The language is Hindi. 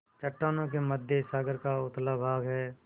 चट्टानों के मध्य सागर का उथला भाग है